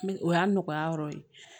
O y'a nɔgɔya yɔrɔ ye